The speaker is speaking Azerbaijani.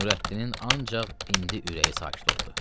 Nurəddinin ancaq indi ürəyi sakit oldu.